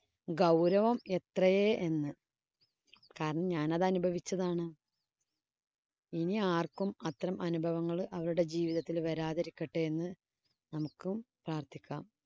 ഗൗരവം എത്രയെ എന്ന് കാരണം ഞാനത് അനുഭവിച്ചതാണ്‌. ഇനി ആര്‍ക്കും അത്തരം അനുഭവങ്ങള്‍ അവരുടെ ജീവിതത്തില്‍ വരാതിരിക്കട്ടെ എന്ന് നമുക്കും പ്രാര്‍ത്ഥിക്കാം.